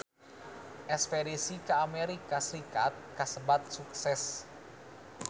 Espedisi ka Amerika Serikat kasebat sukses